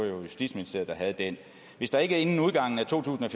justitsministeriet hvis der ikke inden udgangen af to tusind og